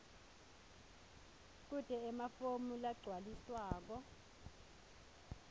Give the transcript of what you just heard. kute emafomu lagcwaliswako